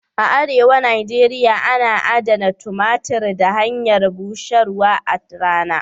A arewa Nijeria ana adana tumatir ta hanyar busharwa a rana.